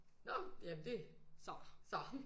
Nå! Jamen det. Så så!